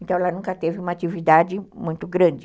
Então ela nunca teve uma atividade muito grande.